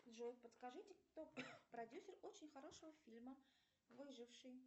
джой подскажите кто продюсер очень хорошего фильма выживший